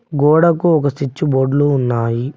గోడకు ఒక చుచ్చు బోర్డ్లు ఉన్నాయి.